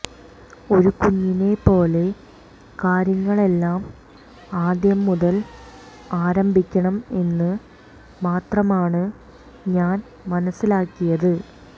ഒരു കുഞ്ഞിനെപ്പോലെ കാര്യങ്ങളെല്ലാം ആദ്യം മുതൽ ആരംഭിക്കണം എന്ന് മാത്രമാണ് ഞാൻ മനസിലാക്കിയത്